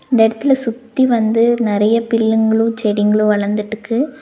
இந்த எடத்துல சுத்தி வந்து நெறைய பில்லுங்ளு செடிங்களு வளந்துட்டுக்கு.